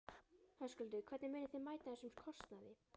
Höskuldur: Hvernig munið þið mæta þessum kostnaði?